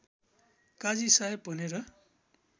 काजी साहेब भनेर